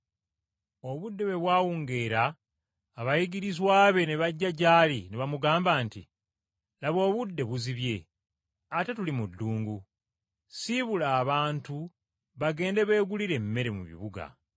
Obudde bwe bwawungeera abayigirizwa be ne bajja gy’ali ne bamugamba nti, “Laba obudde buzibye ate tuli mu ddungu, ssiibula abantu bagende beegulire emmere mu bibuga.”